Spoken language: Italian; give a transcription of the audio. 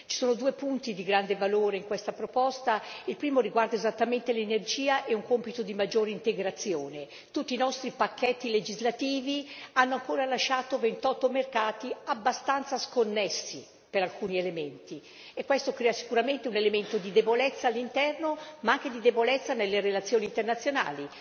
Ci sono due punti di grande valore in questa proposta il primo riguarda esattamente l'energia e un compito di maggiore integrazione. Tutti i nostri pacchetti legislativi hanno ancora lasciato 28 mercati abbastanza sconnessi per alcuni elementi e questo crea sicuramente un elemento di debolezza all'interno, ma anche di debolezza nelle relazioni internazionali.